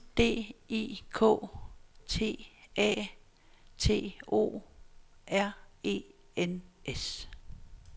D I K T A T O R E N S